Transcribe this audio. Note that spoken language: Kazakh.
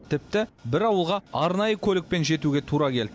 тіпті бір ауылға арнайы көлікпен жетуге тура келді